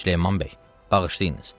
Süleyman bəy, bağışlayınız.